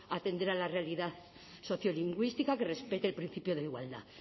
atender a la realidad sociolingüística que respete el principio de igualdad